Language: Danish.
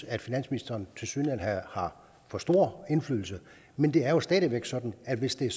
at finansministeren har for stor indflydelse men det er stadig væk sådan at hvis den